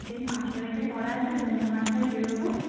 সেই পাঁচটা থেকে পড়া আছে পনে পাঁচটায় বেরোব